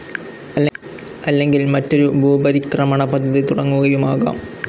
അല്ലെങ്കിൽ മറ്റൊരു ഭൂപരിക്രമണ പദ്ധതി തുടങ്ങുകയുമാകാം.